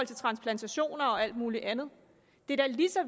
til transplantationer og alt muligt andet det er da lige så